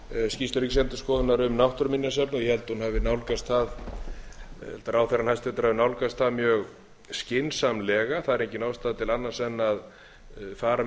skýrslu ríkisendurskoðunar um náttúruminjasafn ég held hún hafi nálgast það ráðherrann hæstvirtur hafi nálgast það mjög skynsamlega það er engin ástæða til annars en fara